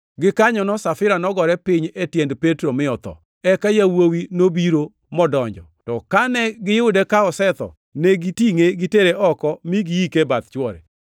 Gikanyono Safira nogore piny e tiend Petro mi otho. Eka yawuowi nobiro modonjo, to kane giyude ka osetho, ne gitingʼe gitere oko mi giike e bath chwore.